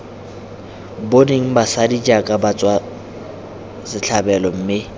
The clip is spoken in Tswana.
boneng basadi jaaka batswasetlhabelo mme